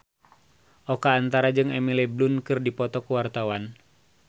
Oka Antara jeung Emily Blunt keur dipoto ku wartawan